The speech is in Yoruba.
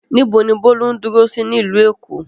Níbo ni Bólú ń dúró sí nílùú Èkó?